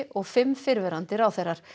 og fimm fyrrverandi ráðherrar